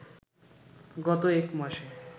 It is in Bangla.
গত এক মাসে